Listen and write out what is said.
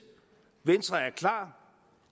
venstre er klar